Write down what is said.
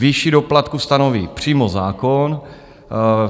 Výši doplatku stanoví přímo zákon.